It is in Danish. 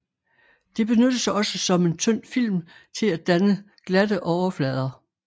Det benyttes også som en tynd film til at danne glatte overflader